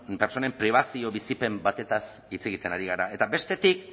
pertsonen pribazioa bizipen batez hitz egiten ari gara eta bestetik